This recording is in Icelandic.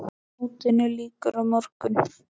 Mótinu lýkur á morgun.